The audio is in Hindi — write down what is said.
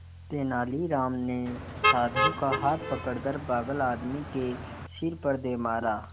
तेनालीराम ने साधु का हाथ पकड़कर पागल आदमी के सिर पर दे मारा